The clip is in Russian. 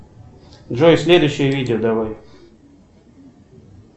джой следующее видео давай